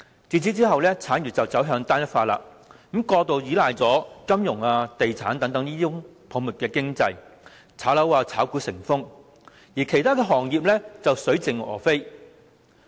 自此以後，產業走向單一化，過度依賴金融、地產業等泡沫經濟，炒樓炒股成風，其他行業卻水盡鵝飛。